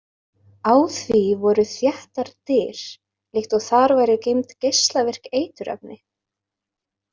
Á því voru þéttar dyr líkt og þar væru geymd geislavirk eiturefni.